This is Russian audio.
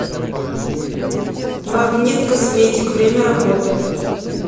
магнит косметик время работы